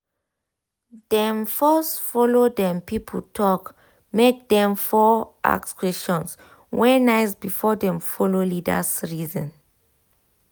dem first follow dem people talk make dem for ask questions wey nice before dem follow leaders reason